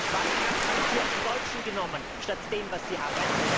Warum haben Sie nicht hier einen Deutschen genommen, statt dem, was Sie haben?